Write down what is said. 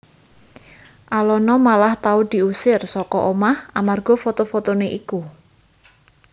Alona malah tau diusir saka omah amarga foto fotoné iku